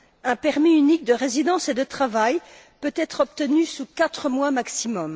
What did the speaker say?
Un permis unique de résidence et de travail peut être obtenu en quatre mois maximum.